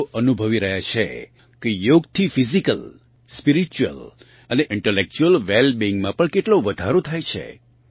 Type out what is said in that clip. લોકો અનુભવી રહ્યાં છે કે યોગથી ફિઝીકલ સ્પીરિચ્યુઅલ અને ઇન્ટલેક્ચ્યુઅલ વેલ બિઇંગમાં પણ કેટલો વધારો થાય છે